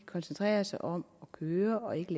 koncentrerer sig om at køre og ikke